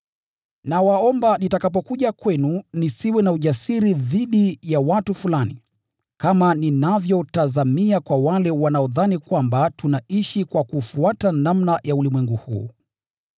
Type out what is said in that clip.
Nawaomba nitakapokuja kwenu nisiwe na ujasiri dhidi ya watu fulani, kama ninavyotazamia kwa wale wanaodhani kwamba tunaishi kwa kufuata namna ya ulimwengu huu.